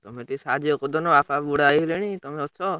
ତମେ ଟିକେ ସାହାଯ୍ୟ କରିଦଉନା, ବାପା ବୁଢା ହେଇଗଲେଣି ତମେ ଅଛ।